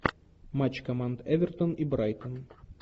матч команд эвертон и брайтон